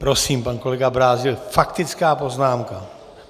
Prosím, pan kolega Brázdil, faktická poznámka.